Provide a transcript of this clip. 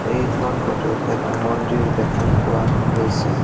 এইখন ফটো ত এটা মন্দিৰ দেখা পোৱা গৈছে।